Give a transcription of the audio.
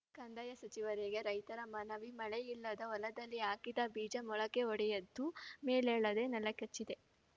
ಕಂದಾಯ ಸಚಿವರಿಗೆ ರೈತರ ಮನವಿ ಮಳೆಯಿಲ್ಲದೆ ಹೊಲದಲ್ಲಿ ಹಾಕಿದ ಬೀಜ ಮೊಳಕೆಯೊಡೆದು ಮೇಲೇಳದೆ ನೆಲಕಚ್ಚಿದೆ